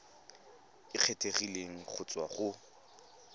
e kgethegileng go tswa go